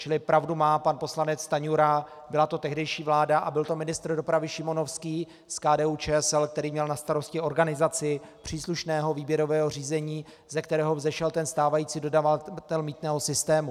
Čili pravdu má pan poslanec Stanjura, byla to tehdejší vláda a byl to ministr dopravy Šimonovský z KDU-ČSL, který měl na starosti organizaci příslušného výběrového řízení, ze kterého vzešel ten stávající dodavatel mýtného systému.